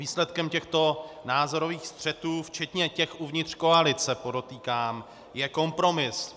Výsledkem těchto názorových střetů, včetně těch uvnitř koalice, podotýkám, je kompromis.